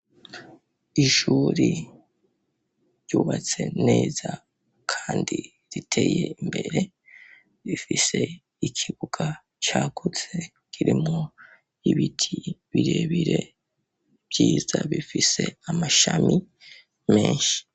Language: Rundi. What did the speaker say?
Ishuri ryubatse neza kandi riteye imbere, rifise ikibuga cagutse kirimwo ibiti birebire vyiza bifise amashami menshi.